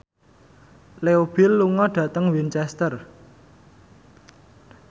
Leo Bill lunga dhateng Winchester